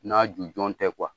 N'a jujɔn tɛ